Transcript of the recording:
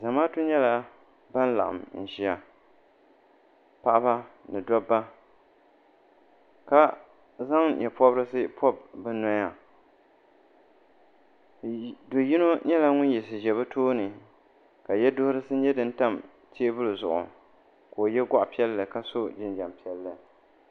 Zamaatu nyɛla bini laɣim n ziya paɣaba ni dabba ka zaŋ yee pɔbirisi pɔbi bi noya doo yino nyɛla ŋuni yiɣisi zɛ bi tooni ka yiɛduhirisi nyɛ dini tam tɛɛbuli zuɣu ka o ye gɔɣi piɛlli ka so jinjam piɛlli.